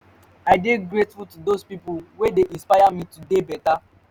i dey grateful to dose pipo wey dey inspire me to dey beta